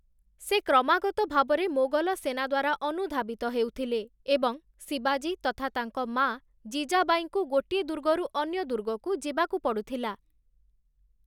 ସେ କ୍ରମାଗତ ଭାବରେ ମୋଗଲ ସେନା ଦ୍ୱାରା ଅନୁଧାବିତ ହେଉଥିଲେ, ଏବଂ ଶିବାଜୀ ତଥା ତାଙ୍କ ମାଆ ଜିଜାବାଈଙ୍କୁ ଗୋଟିଏ ଦୁର୍ଗରୁ ଅନ୍ୟ ଦୁର୍ଗକୁ ଯିବାକୁ ପଡ଼ୁଥିଲା ।